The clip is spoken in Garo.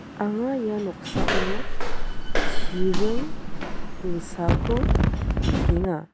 anga ia noksao chiring dilsako nikenga.